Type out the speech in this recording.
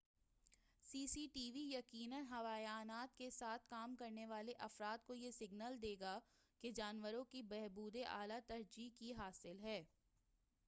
سی C T V یقیناً حیوانات کے ساتھ کام کرنے والے افراد کو یہ سگنل دے گا کہ جانوروں کی بہبود اعلیٰ ترجیح کی حامل ہے